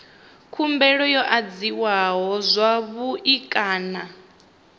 khumbelo yo adziwa zwavhui kana